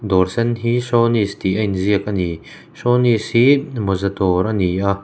dawr sen hi sawhneys tih a inziak a ni sawhneys hi mawza dawr a ni a.